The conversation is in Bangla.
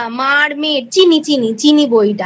মা আর মেয়ে Chini চিনি চিনি বইটা।